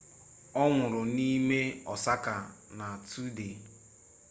ọ nwụrụ n'ime osaka na tusdee